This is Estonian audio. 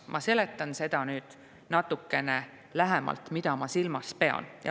Ma seletan nüüd natukene lähemalt, mida ma silmas pean.